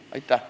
Aitäh!